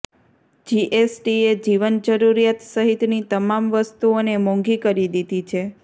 જીએસટીએ જીવનજરૂરિયાત સહિતની તમામ વસ્તુઓને મોંઘી કરી દીધી છે